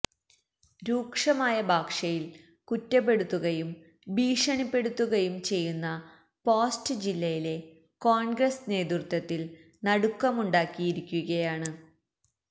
രൂക്ഷമായ ഭാഷയില് കുറ്റപ്പെടുത്തുകയും ഭീഷണിപ്പെടുത്തുകയും ചെയ്യുന്ന പോസ്റ്റ് ജില്ലയിലെ കോണ്ഗ്രസ് നേതൃത്വത്തില് നടുക്കമുണ്ടാക്കിയിരിക്കുകയാണ്